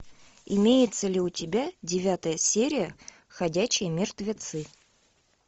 имеется ли у тебя девятая серия ходячие мертвецы